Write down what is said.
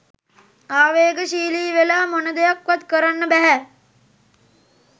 ආවේගශීලී වෙලා මොන දෙයක් වත් කරන්න බැහැ